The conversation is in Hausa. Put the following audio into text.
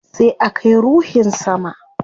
Sai a kai ruhin sama